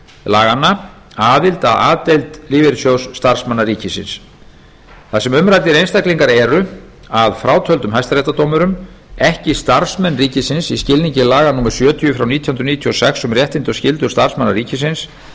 laganna aðild að a deild lífeyrissjóðs starfsmanna ríkisins þar sem umræddir einstaklingar eru að frátöldum hæstaréttardómurum ekki starfsmenn ríkisins í skilningi laga númer sjötíu nítján hundruð níutíu og sex um réttindi og skyldur starfsmanna ríkisins